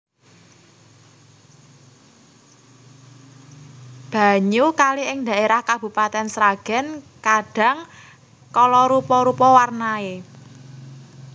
Banyu kali ing dhaérah Kabupatèn Sragèn kadhang kala rupa rupa warnaé